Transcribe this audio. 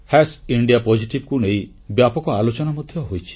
India positive କୁ ନେଇ ବ୍ୟାପକ ଆଲୋଚନା ମଧ୍ୟ ହୋଇଛି